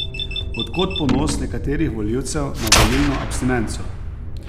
Od kod ponos nekaterih volivcev na volilno abstinenco?